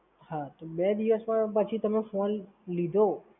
હાં તો બે દિવસ માં પાછું તમે phone લીધો